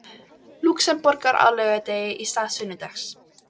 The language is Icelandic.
Lúxemborgar á laugardegi í stað sunnudags.